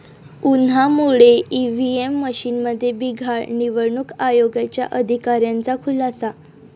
उन्हामुळे ईव्हीएम मशीनमध्ये बिघाड, निवडणूक आयोगाच्या अधिकाऱ्यांचा खुलासा